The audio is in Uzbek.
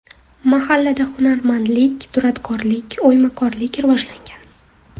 Mahallada hunarmandlik, duradgorlik, o‘ymakorlik rivojlangan.